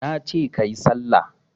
Nace kayi sallah